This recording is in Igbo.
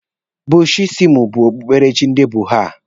Bushisimụ bụ okpukperechi ndị budha.